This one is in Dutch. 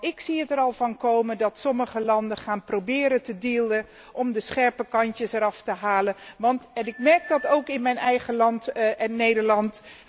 Ik zie het er al van komen dat sommige landen gaan proberen te dealen om de scherpe kantjes eraf te halen, en ik merk dat ook in mijn eigen land, Nederland.